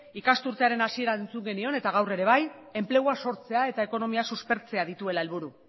ikasturtearen hasieran entzun genion eta gaur ere bai enplegua sortzea eta ekonomia suspertzea dituela helburu